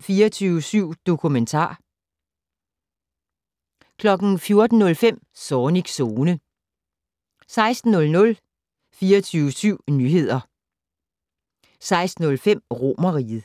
24syv dokumentar 14:05: Zornigs Zone 16:00: 24syv Nyheder 16:05: Romerriget